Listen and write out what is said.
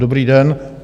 Dobrý den.